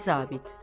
Kiçik zabit.